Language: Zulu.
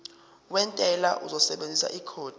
wentela uzosebenzisa ikhodi